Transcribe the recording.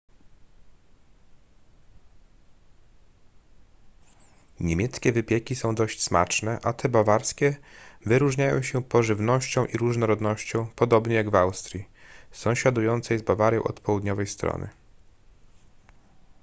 niemieckie wypieki są dość smaczne a te bawarskie wyróżniają się pożywnością i różnorodnością podobnie jak w austrii sąsiadującej z bawarią od południowej strony